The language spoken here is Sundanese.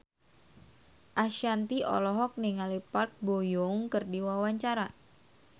Ashanti olohok ningali Park Bo Yung keur diwawancara